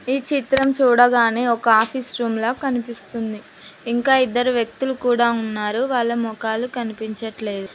ఈ చిత్రం చూడగానే ఒక ఆఫీస్ రూమ్ల కనిపిస్తుంది ఇంకా ఇద్దరు వ్యక్తులు కూడా ఉన్నారు వాళ్ళ మొఖాలు కనిపించట్లేదు.